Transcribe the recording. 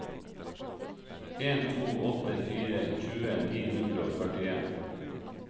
en to åtte fire tjue ni hundre og førtien